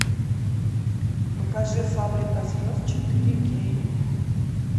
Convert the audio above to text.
покажи фабрика звезд четыре кей